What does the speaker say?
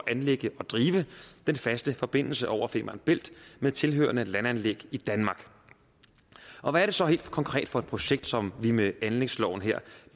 anlægge og drive den faste forbindelse over femern bælt med tilhørende landanlæg i danmark og hvad er det så helt konkret for et projekt som vi med anlægsloven her